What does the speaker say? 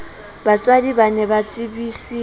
batswadi ba ne ba tsebiswe